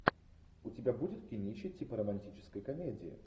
у тебя будет кинище типа романтической комедии